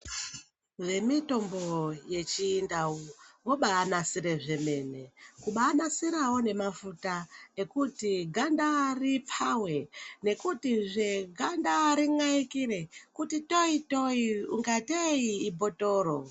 Vemitombo yechindau vobanasire zvemene. Kubanasirawo nemafuta ekuti ganda ripfave nekutizve ganda rin'aikire kuti toi-toi kungatei ibhothoro.